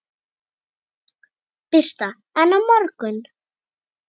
Birta: En á morgun?